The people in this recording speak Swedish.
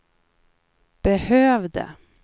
behövde